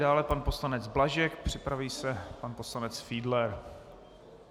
Dále pan poslanec Blažek, připraví se pan poslanec Fiedler.